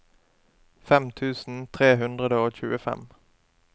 fem tusen tre hundre og tjuefem